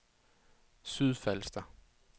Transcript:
Sydfalster